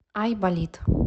ай болит